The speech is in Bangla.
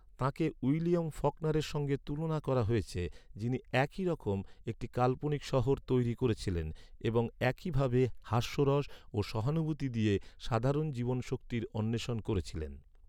তাঁকে উইলিয়াম ফকনারের সঙ্গে তুলনা করা হয়েছে, যিনি একই রকম একটি কাল্পনিক শহর তৈরি করেছিলেন এবং একই ভাবে হাস্যরস ও সহানুভূতি দিয়ে সাধারণ জীবনীশক্তির অণ্বেষণ করেছিলেন।